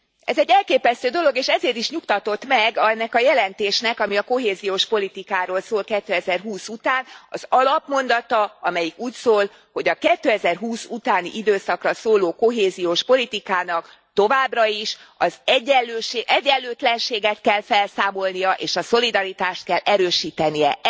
Ez egy elképesztő dolog, és ezért is nyugtatott meg ennek a jelentésnek, ami a kohéziós politikáról szól 2020 után, az alapmondata, amelyik úgy szól, hogy a 2020 utáni időszakra szóló kohéziós politikának továbbra is az egyenlőtlenséget kell felszámolnia és a szolidaritást kell erősítenie.